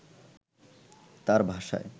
তার ভাষায়